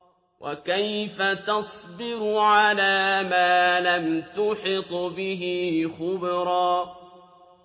وَكَيْفَ تَصْبِرُ عَلَىٰ مَا لَمْ تُحِطْ بِهِ خُبْرًا